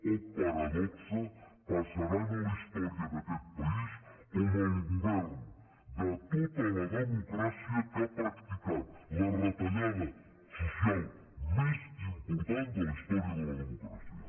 oh paradoxa passaran a la història d’aquest país com el govern de tota la democràcia que ha practicat la retallada social més important de la història de la democràcia